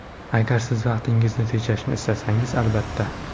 Agar Siz vaqtingizni tejashni istasangiz – albatta!